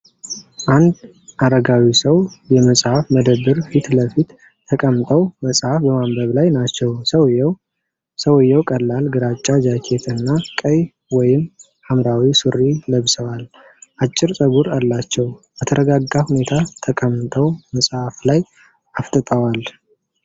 አንድ አረጋዊ ሰው የመጽሐፍ መደብር ፊት ለፊት ተቀምጠው መጽሐፍ በማንበብ ላይ ናቸው። ሰውየው: ሰውዬው ቀላል ግራጫ ጃኬት እና ቀይ ወይም ሐምራዊ ሱሪ ለብሰዋል። አጭር ፀጉር አላቸው፤ በተረጋጋ ሁኔታ ተቀምጠው መጽሐፍ ላይ አፍጥጠዋል።